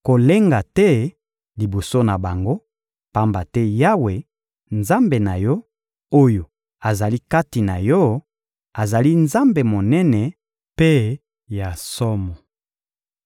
Kolenga te liboso na bango, pamba te Yawe, Nzambe na yo, oyo azali kati na yo, azali Nzambe Monene mpe ya somo.